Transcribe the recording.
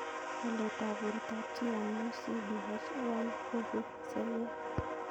Walet ap portab chii amu CDH1 koipu seriat